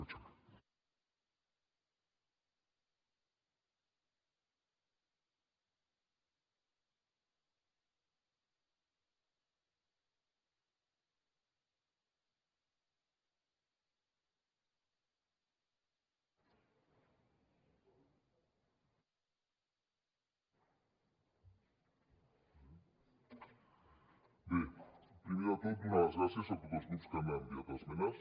bé primer de tot donar les gràcies a tots els grups que han enviat esmenes